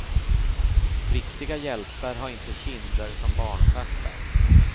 Riktiga hjältar har inte kinder som barnstjärtar.